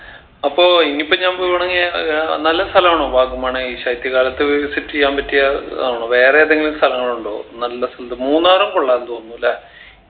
അപ്പൊ ഇനിയിപ്പോ ഞാൻ പോവുആണെങ്കി ഏർ ആഹ് നല്ല സ്ഥലാണോ വാഗമൺ ഈ ശൈത്യകാലത്ത് visit എയ്യാൻ പറ്റിയ ആണോ വേറെ ഏതെങ്കിലും സ്ഥലങ്ങളുണ്ടോ നല്ല സുന്ദ മൂന്നാറും കൊള്ളാന്ന് തോന്നുന്നു അല്ലേ